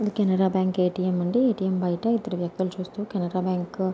ఇది Canara bank ATM అండి. ATM బయట ఇద్దరు వ్యక్తులు చూస్తూ కెనరా బ్యాంకు --